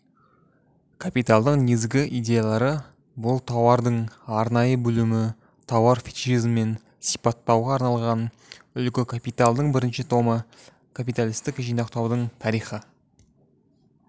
капиталдың негізгі идеялары бұл тауардың арнайы бөлімі тауар фетишизмін сипаттауға арналған үлгі капиталдың бірінші томы капиталистік жинақтаудың тарихи